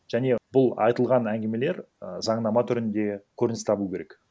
және бұл айтылған әңгімелер і заңнама түрінде көрініс табуы керек